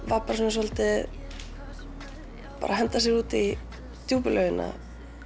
var svolítið að henda sér út í djúpu laugina